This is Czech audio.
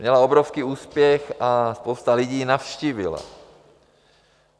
Měla obrovský úspěch a spousta lidí ji navštívila.